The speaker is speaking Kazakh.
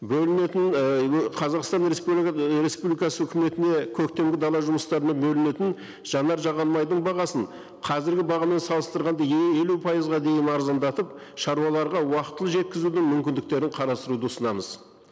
бөлінетін ііі қазақстан республикасы өкіметіне көктемгі дала жұмыстарына бөлінетін жанар жағармайдың бағасын қазіргі бағамен салыстырғанда елу пайызға дейін арзандатып шаруаларға уақытылы жеткізудің мүмкіндіктерін қарастыруды ұсынамыз